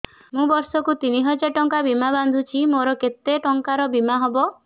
ମୁ ବର୍ଷ କୁ ତିନି ହଜାର ଟଙ୍କା ବୀମା ବାନ୍ଧୁଛି ମୋର କେତେ ଟଙ୍କାର ବୀମା ହବ